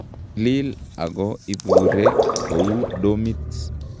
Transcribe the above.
Tilil ako iburee kouu domit